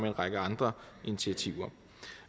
en række andre initiativer